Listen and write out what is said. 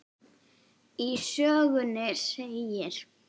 Í sögunni segir